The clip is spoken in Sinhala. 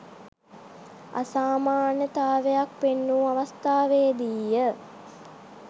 අසාමාන්‍යතාවක් පෙන්නූ අවස්ථාවේදීය.